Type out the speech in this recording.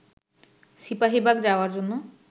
সিপাহীবাগ যাওয়ার জন্য